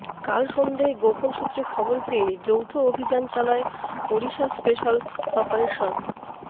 কাল সন্ধেয় গোপন সূত্রে খবর পেয়ে যৌথ অভিযান চালায় ওড়িশা স্পেশাল অপারেশন